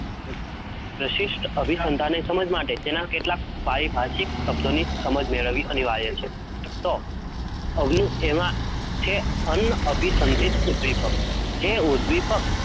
પ્રશિષ્ટ, અભી સંતાન સમજ માટે તેનાં કેટલાંક પારી ભાસિક સબ્દો ની સમજ મેળવવી, અનિવાર્ય છે તો, અવનું એમાં તે અવની દીપક, જેવું દીપક